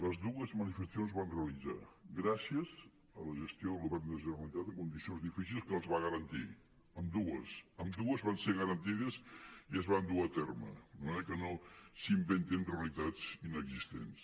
les dues manifestacions es van realitzar gràcies a la gestió del govern de la generalitat en condicions difícils que les va garantir ambdues amb·dues van ser garantides i es van dur a terme de manera que no s’inventin realitats inexistents